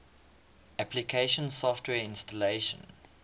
application software installation